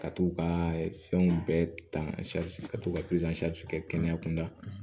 Ka t'u ka fɛnw bɛɛ ta ka to ka kɛ kɛnɛya kunda